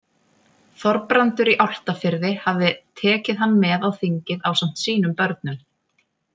Þorbrandur í Álftafirði hafði tekið hann með á þingið ásamt sínum börnum.